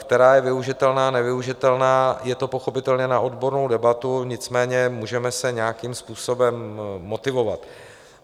Která je využitelná, nevyužitelná, je to pochopitelně na odbornou debatu, nicméně můžeme se nějakým způsobem motivovat.